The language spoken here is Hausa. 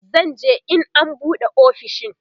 zan je in an buɗe ofishin